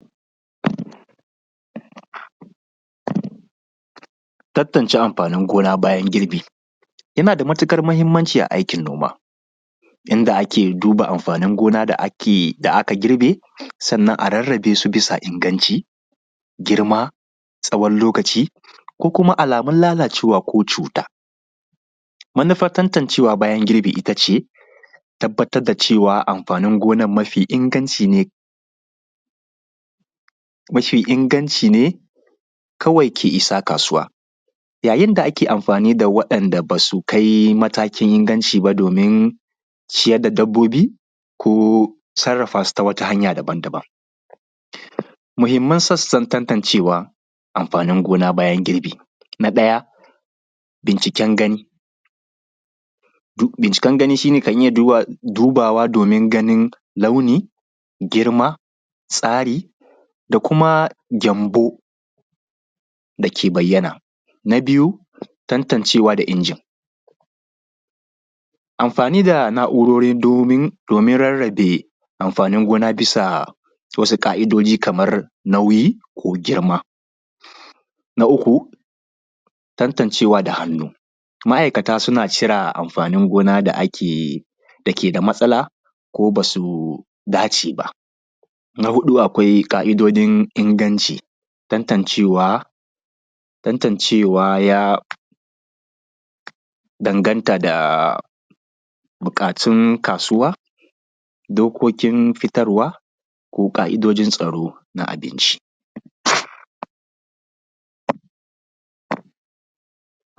Tantance amfanin gona bayan girbi. Yana da matuƙar muhimmanci a aikin noma inda ake duba amfanin gona da aka girbe, sannan a rarrabe su bisa inganci, girma tsawon lokaci, ko kuma alamun lalacewa ko cuta. Manufar tantancewa bayan girbi ita ce, tabbatar da cewa amfanin gonar mafi inganci ne, kawai ke shiga kasuwa. Yayi da ake amfani da waɗanda ba su kai matakin inganci ba domin ciyar da dabbobi, ko sarrafa su ta wata hanya daban daban. Muhimman sassan tantancewa amfanin gona bayan girbi. Na ɗaya binciken gani. Binciken gani shi ne kan iya dubawa domin ganin launi, girma, tsari, da kuma gyambo da ke bayyana. Tantancewa da inji. Amfani da na’urori domin rarrabe amfanin gona bisa wasu ƙa’idoji kamar nauyi ko girma. Na uku tantancewa da hannu. Ma’aikata su na cire amfanin gona da ke da matsala ko ba su dace ba. Na huɗu akwai ƙa’idojin inganci. Tantancewa ya danganta da buƙatun kasuwa, dokokin fitarwa, ko ƙa’idojin tsaro na abinci